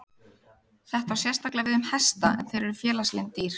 Þetta á sérstaklega við um hesta en þeir eru félagslynd dýr.